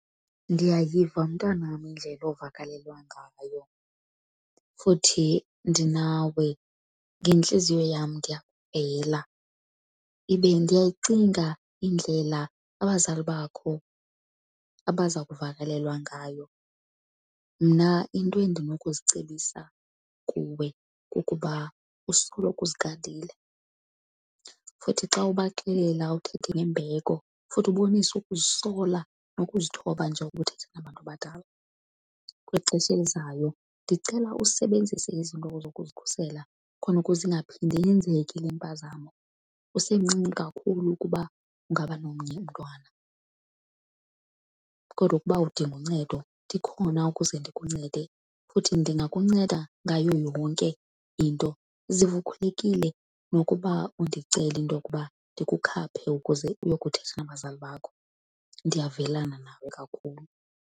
Ndiyayiva, mntanam, indlela ovakalelwa ngayo futhi ndinawe ngentliziyo yam. Ndiyakuvela ibe ndiyayicinga indlela abazali bakho abaza kuvakalelwa ngayo. Mna into endinokuzicebisa kuwe kukuba usoloko uzigadile, futhi xa ubaxelela uthethe ngembeko futhi ubonise ukuzisola nokuzithoba njengoko uthetha nabantu abadala. Kwixesha elizayo ndicela usebenzise izinto zokuzikhusela khona ukuze ingaphindi yenzeke le mpazamo, usemncinci kakhulu ukuba ungaba nomnye umntwana. Kodwa ukuba udinga uncedo ndikhona ukuze ndikuncede, futhi ndingakunceda ngayo yonke into. Zive ukhululekile nokuba undicele into yokuba ndikukhaphe ukuze uyokuthetha nabazali bakho, ndiyavelana nawe kakhulu.